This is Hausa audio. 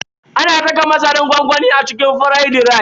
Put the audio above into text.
Ana saka masaran gwangwami a cikin firaidi rice.